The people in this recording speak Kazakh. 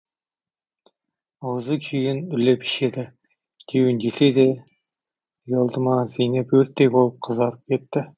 аузы күйген үрлеп ішеді деуін десе де ұялды ма зейнеп өрттей болып қызарып кетті